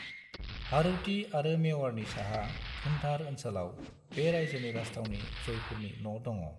हाड़ौती आरो मेवाड़नि साहा धुंधार ओनसोलाव, बे रायजोनि राजथावनि जयपुरनि न' दङ।